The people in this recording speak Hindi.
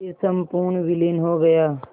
फिर संपूर्ण विलीन हो गया